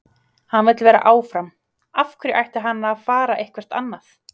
Hann vill vera áfram, af hverju ætti hann að fara eitthvert annað?